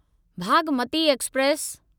Bhagmati express